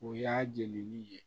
O y'a jɛnni ye